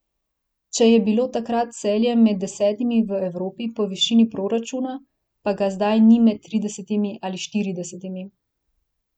Če je bilo takrat Celje med desetimi v Evropi po višini proračuna, pa ga zdaj ni med tridesetimi ali štiridesetimi.